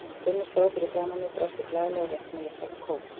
Gummi stóð fyrir framan mig, brosti glaðlega og rétti mér litla kók.